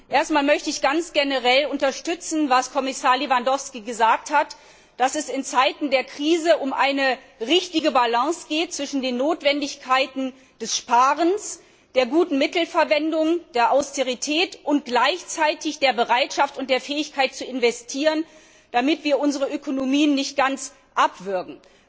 Erst einmal möchte ich ganz generell unterstützen, was Kommissar Lewandowski gesagt hat, dass es in Zeiten der Krise um eine richtige Balance zwischen den Notwendigkeiten des Sparens, der guten Mittelverwendung, der Austerität und gleichzeitig der Bereitschaft und der Fähigkeit zu investieren geht, damit wir unsere Ökonomie nicht ganz abwürgen.